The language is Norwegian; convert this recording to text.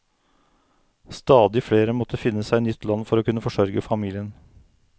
Stadig flere måtte finne seg nytt land for å kunne forsørge familien.